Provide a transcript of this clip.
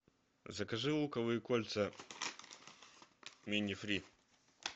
закажи луковые кольца мини фри